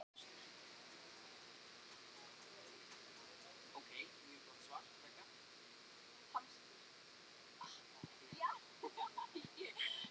Byggingarefnið skiptir einnig töluverðu máli.